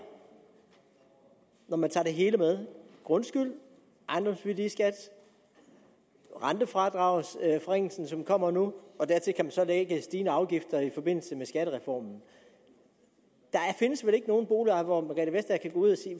når man tager det hele med grundskyld ejendomsværdiskat rentefradragsforringelse som kommer nu og dertil kan man så lægge stigende afgifter i forbindelse med skattereformen der findes vel ikke nogen boligejer hvorom